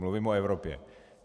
Mluvím o Evropě.